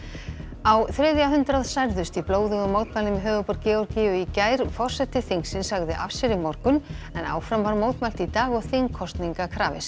á þriðja hundrað særðust í blóðugum mótmælum í höfuðborg Georgíu í gær forseti þingsins sagði af sér í morgun en áfram var mótmælt í dag og þingkosninga krafist